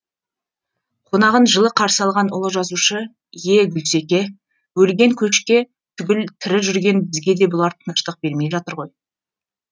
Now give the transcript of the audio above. қонағын жылы қарсы алған ұлы жазушы е гүлсеке өлген қошке түгіл тірі жүрген бізге де бұлар тыныштық бермей жатыр ғой